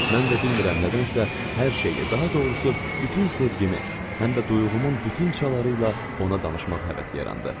Mən də bilmirəm nədənsə hər şeyi, daha doğrusu bütün sevgimi, həm də duyğumun bütün çaları ilə ona danışmaq həvəsi yarandı.